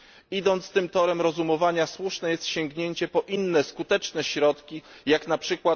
Idąc tym torem rozumowania słuszne jest sięgnięcie po inne skuteczne środki jak np.